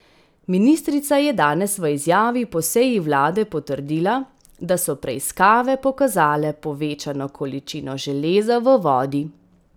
Ministrica je danes v izjavi po seji vlade potrdila, da so preiskave pokazale povečano količino železa v vodi.